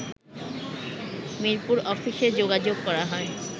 মিরপুর অফিসে যোগাযোগ করা হয়